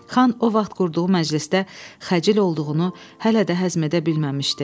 Xan o vaxt qurduğu məclisdə xəcil olduğunu hələ də həzm edə bilməmişdi.